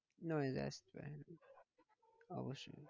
Noise আসছে হ্যাঁ অবশ্যই।